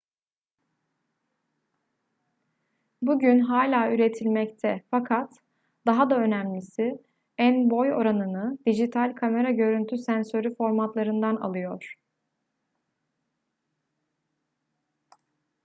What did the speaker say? bugün hala üretilmekte fakat daha da önemlisi en-boy oranını dijital kamera görüntü sensörü formatlarından alıyor